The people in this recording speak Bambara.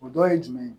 O dɔ ye jumɛn ye